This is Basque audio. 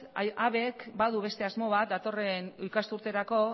habek badu beste asmo bat datorren ikasturterako